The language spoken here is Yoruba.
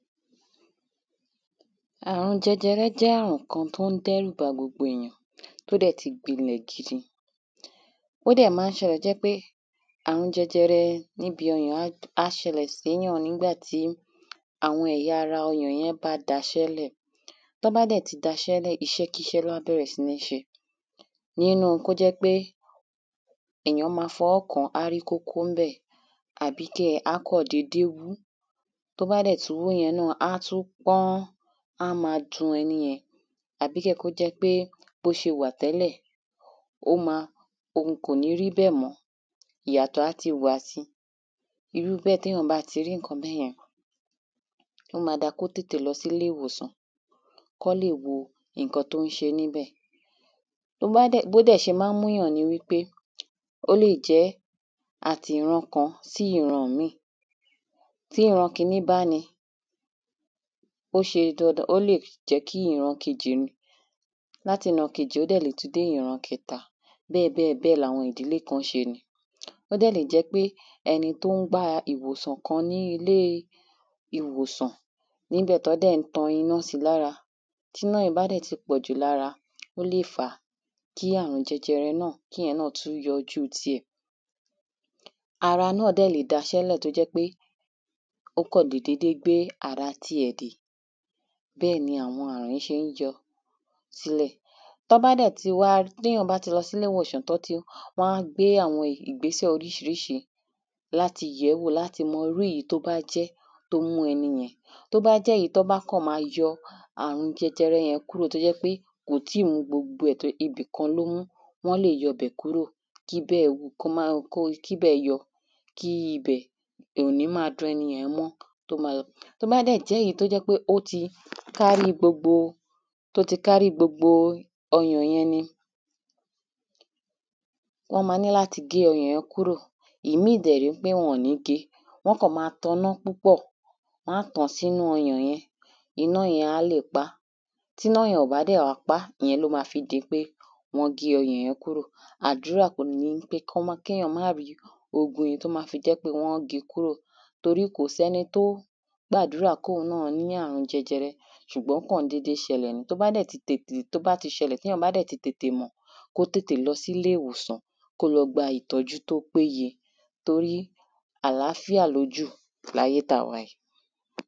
Àrùn jẹjẹrẹ jẹ́ àrùn kan tó ń dẹ́rù ba gbogbo èyàn tó dẹ̀ ti gbilẹ̀ gidigidi ó dẹ̀ má ń ṣẹlẹ̀ tó jẹ́ pé àrùn jẹjẹrẹ níbi ọyàn á ṣẹlẹ̀ síyàn nígbàtí àwọn ẹya ara ọyàn yẹn bá daṣẹ́ lẹ̀ tán bá dẹ̀ ti daṣẹ́ lẹ̀ iṣẹ́ kíṣẹ́ ni wọ́n á bẹ̀rẹ̀ sí níṣe. Nínú kó jẹ́ pé èyàn má fọwọ́ kán á rí kókó ńbẹ̀ àbí á kàn dédé wú tó bá dẹ̀ ti wú yẹn náà á tún pọ́n á wá má dun ẹni yẹn tàbí kó jẹ́ pé bó ṣe wà tẹ́lẹ̀ ó má ohun kò ní ríbẹ̀ mọ́ ìyàtọ̀ á ti wà sí irú bẹ́ẹ̀ téyàn bá ti rí nǹkan bẹ́yẹn ó má dá kó tètè lọ sí ilé ìwòsàn kán lè wo nǹkan tó ń ṣé níbẹ̀. Tó bá dẹ̀ bó dẹ̀ ṣe má ń mú yàn nipé ó lè jẹ́ àtiran kan sí ìran míì tíran kíní bá ní ó ṣe dandan ó lè jẹ́ kí ìran kejì ní láti ran kejì ó dẹ̀ tún lè dé ìran kẹta bẹ́ẹ̀ láwọn ìdílé kan ṣe ní ó dẹ̀ lè jẹ́ pé ẹni tó ń gba ìwòsàn kan ní ilé ìwòsàn níbẹ̀ tán dẹ̀ ń tan iná sí lára tíná yìí bá dẹ̀ ti pọ̀jù lára ó lè fá kí àrùn jẹjẹrẹ náà kí iyẹn náà tún yọjú tí ẹ̀. Ara náà dẹ̀ lè daṣẹ́ lẹ̀ tó jẹ́ pé ó kàn lè dédé gbé ara ti ẹ̀ dè bẹ́ẹ̀ ni àwọn àrùn yìí ṣé ń yọ sílẹ̀ tá bá dẹ̀ ti wá téyàn bá ti lọ sílé ìwòsàn tán ti wá gbé àwọn ìgbésẹ̀ oríṣiríṣi láti yẹ̀wóò láti mọ irú èyí tó bá jẹ́ mọ irú ẹni yẹn tó bá jẹ́ èyí tán kàn má yọ àrùn jẹjẹrẹ yẹn kúrò tó jẹ́ pé kò tí wọ gbogbo ẹ̀ tó ibì kan ló mú wọ́n lè yọ bẹ̀ kúrò tíbẹ̀ tíbẹ yọ kó má tí ibẹ̀ ibẹ̀ ò ní má dun ẹni yẹn mọ́ tó bá dẹ̀ jẹ́ èyí tó jẹ́ pé ó ti kárí gbogbo tó ti kárí gbogbo ọyàn yẹn ni wọ́n má ní láti gé ọyàn yẹn kúrò ìmí dẹ̀ ní wọn ò ní ní láti gé wọ́n kàn má taná púpọ̀ wọ́n á tàn sínú ọyàn yẹn iná yẹn á lè pá tíná yẹn ò bá pá ìyẹn ná má fi gé pé wọ́n á gé ọyàn yẹn kúrò àdúrà kàn ni wípé kéyàn má rí gbogbo ohun tó bá fi jẹ́ pé wọ́n á gé kúrò torí kò sẹ́ni tó gbàdúɹà kí òhun náà ní àrùn jẹjẹrẹ ṣùgbọ́n ó kàn dédé ṣẹlẹ̀ tó bá dẹ̀ ti ṣẹlẹ̀ téyàn bá dẹ̀ ti tètè mọ̀ kó tètè lọ sílé ìwòsàn kó dẹ̀ gba ìtọ́jú tó péye torí àláfíà ló jù láyé tá wà yìí.